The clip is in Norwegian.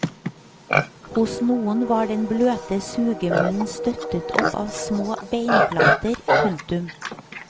Hos noen var den bløte sugemunnen støttet opp av små beinplater. punktum